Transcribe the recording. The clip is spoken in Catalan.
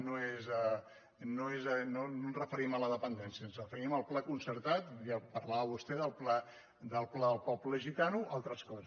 no ens referim a la dependència ens referim al pla concertat i parlava vostè del pla del poble gitano o altres coses